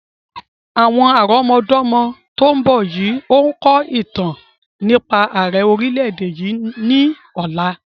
Àwọn àrọmọdọ́mọ tòun bọ̀ yìí ó kọ̀ ìtàn nípa àrẹ orìlẹ̀-èdè yìí ni ọ̀la.